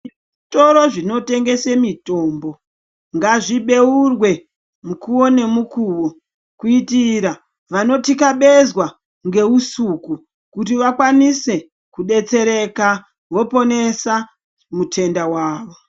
Zvitoro zvinotengese mitombo ngazvibeurwe mukuvo nemukuvo. Kuitira vanotikabezwa ngeusuku kuti vakwanise kubetsereka voponesa mutenda vavo.